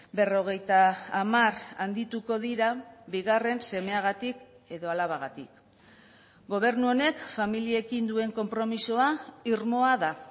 berrogeita hamar handituko dira bigarren semeagatik edo alabagatik gobernu honek familiekin duen konpromisoa irmoa da